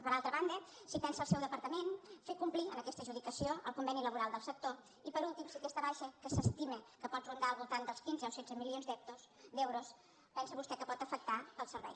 per altra banda si pensa el seu departament fer complir en aquesta adjudicació el conveni laboral del sector i per últim si aquesta baixa que s’estima que pot rondar al voltant dels quinze o setze milions d’euros pensa vostè que pot afectar el servei